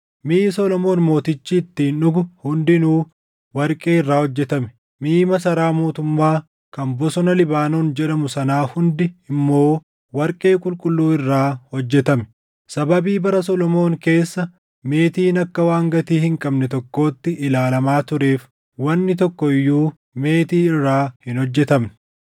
Miʼi Solomoon Mootichi ittiin dhugu hundinuu warqee irraa hojjetame; miʼi masaraa mootummaa kan Bosona Libaanoon jedhamu sanaa hundi immoo warqee qulqulluu irraa hojjetame. Sababii bara Solomoon keessa meetiin akka waan gatii hin qabne tokkootti ilaalamaa tureef wanni tokko iyyuu meetii irraa hin hojjetamne.